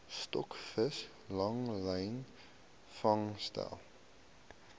stokvis langlyn vangste